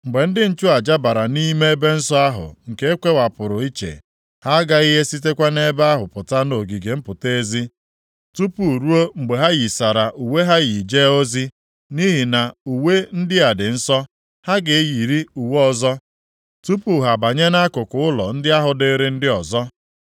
Mgbe ndị nchụaja bara nʼime ebe nsọ ahụ nke e kewapụrụ iche, ha aghaghị esikwa nʼebe ahụ pụta nʼogige mpụta ezi, tupu ruo mgbe ha yisara uwe ha yii jee ozi, nʼihi na uwe ndị a dị nsọ. Ha ga-eyiri uwe ọzọ, tupu ha abanye nʼakụkụ ụlọ ndị ahụ dịịrị ndị ọzọ.”